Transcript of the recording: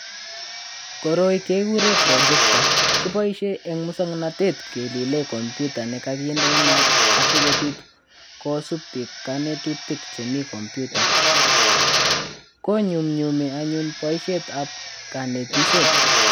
Koroi kekure projector. Kiboisie eng muswoknatet kelile kompyuta ne kakinde inaat asikobiit kosuub biik konetutik chemi kompyuta. Konyumnyumi anyun boisietap konetishet.